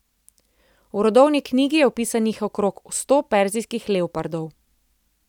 V rodovni knjigi je vpisanih okrog sto perzijskih leopardov.